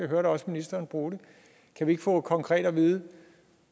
hørte også ministeren bruge det kan vi ikke få konkret at vide